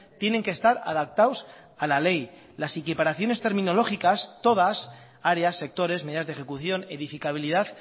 tienen que estar adaptados a la ley las equiparaciones terminológicas todas áreas sectores medidas de ejecución edificabilidad